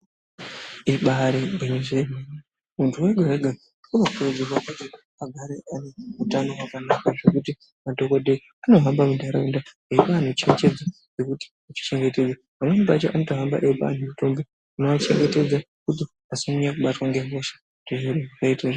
Ibari gwinyiso yemene muntu wega wega unokurudzirwa kuti agare ane utano hwakanaka hwekuti madhokodheya anohamba muntaraunda eipa antu cherechedzo yekuti kuchengetedza pamweni pacho anotohamba eipa antu mutombo unoachengetedza kuti asanyanye kubatwa ngehosha kuti zviro zviite.